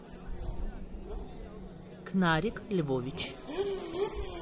кнарик львович